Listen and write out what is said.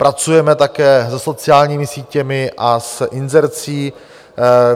Pracujeme také se sociálními sítěmi a s inzercí.